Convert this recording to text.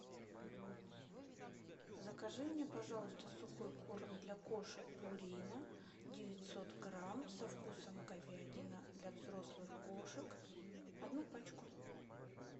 закажи мне пожалуйста сухой корм для кошек пурина девятьсот грамм со вкусом говядина для взрослых кошек одну пачку